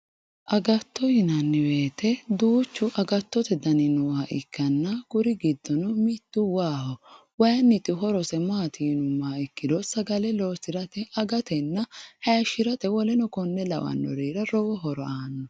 Agatto yinnanni woyte duuchu agattote dani nooha ikkanna mitu waaho ,waayiniti horosi maati yinuummoro sagale loosirate agatenna hayishirate woleno kore lawino horo aanno.